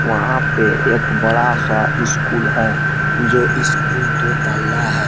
वहां पे एक बड़ा सा इस स्कूल है जो इस स्कूल दो तल्ला है।